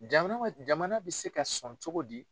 Jamana ma jamana bɛ se ka sɔn cogo di?